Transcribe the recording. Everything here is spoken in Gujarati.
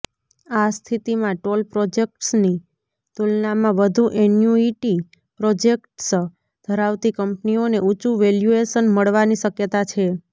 આ સ્થિતિમાં ટોલ પ્રોજેક્ટ્સની તુલનામાં વધુ એન્યુઇટી પ્રોજેક્ટ્સ ધરાવતી કંપનીઓને ઊંચું વેલ્યુએશન મળવાની શક્યતા છે